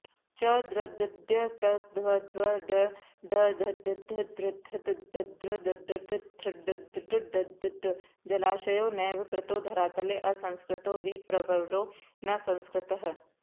च्दृदद्यत्दद्वड्ढ ढद्धदृथ्र्ददृध्ड्ढथ्र्डड्ढद्ध जलाशयो नैव कृतो धरातले असंस्कृतो विप्रवरो न संस्कृतः